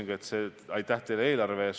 Lugupeetud peaminister!